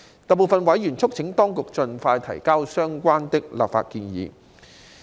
大部分委員促請當局盡快提交相關的立法建議。